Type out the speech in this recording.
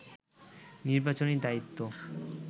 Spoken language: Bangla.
নির্বাচনী দায়িত্ব